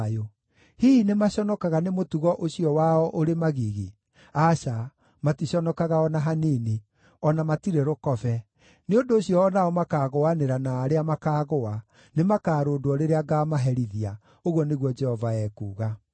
Hihi nĩmaconokaga nĩ mũtugo ũcio wao ũrĩ magigi? Aca, maticonokaga o na hanini; o na matirĩ rũkobe. Nĩ ũndũ ũcio o nao makaagũanĩra na arĩa makaagũa; nĩmakarũndwo rĩrĩa ngaamaherithia,” ũguo nĩguo Jehova ekuuga.